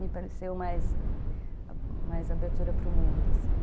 Me pareceu mais abertura para o mundo, assim.